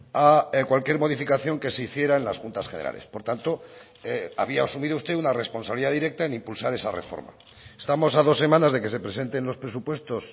a cualquier modificación que se hiciera en las juntas generales por tanto había asumido usted una responsabilidad directa en impulsar esa reforma estamos a dos semanas de que se presenten los presupuestos